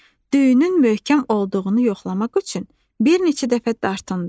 Düyünün möhkəm olduğunu yoxlamaq üçün bir neçə dəfə dartındı.